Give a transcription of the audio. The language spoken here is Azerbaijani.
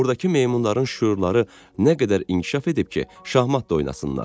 Ordakı meymunların şüurları nə qədər inkişaf edib ki, şahmat da oynasınlar?